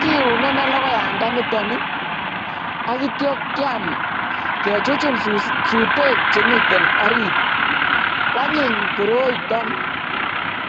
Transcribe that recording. kiune ineii lokoyandaniton ak kityo kiam kechuchun sutek chemiten oriit, kwanyiny koroiton.